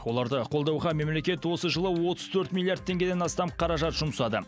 оларды қолдауға мемлекет осы жылы отыз төрт миллиард теңгеден астам қаражат жұмсады